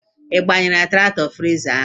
Ị gbanyere traktọ fetiza?